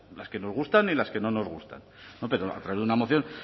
las que nos gustan y las que no nos gustan pero a través de una moción